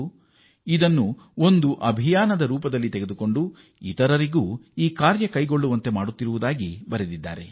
ಇವರು ಇದನ್ನು ಅಭಿಯಾನದ ರೀತಿಯಲ್ಲಿ ಕೈಗೊಂಡಿದ್ದು ಇತರರನ್ನೂ ಈ ವ್ಯಾಪ್ತಿಗೆ ತರುತ್ತಿದ್ದಾರೆ